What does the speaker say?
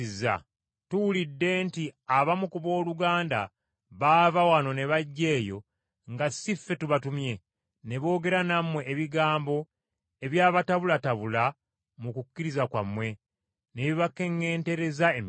Tuwulidde nti abamu ku booluganda baava wano ne bajja eyo nga si ffe tubatumye, ne boogera nammwe ebigambo ebyabatabulatabula mu kukkiriza kwammwe ne bibakeŋŋentereza emitima.